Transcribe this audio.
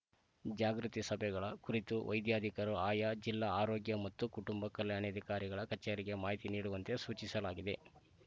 ಜಾಗೃತಿ ಸಭೆಗಳ ಕುರಿತು ವೈದ್ಯಾಧಿಕರು ಆಯಾ ಜಿಲ್ಲಾ ಆರೋಗ್ಯ ಮತ್ತು ಕುಟುಂಬ ಕಲ್ಯಾಣಾಧಿಕಾರಿಗಳ ಕಚೇರಿಗೆ ಮಾಹಿತಿ ನೀಡುವಂತೆ ಸೂಚಿಸಲಾಗಿದೆ